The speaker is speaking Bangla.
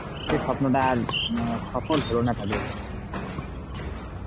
সেই স্বপ্নটা আর সফল হলো না তাহলে